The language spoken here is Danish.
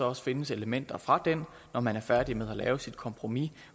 også findes elementer fra den når man er færdig med at lave sit kompromis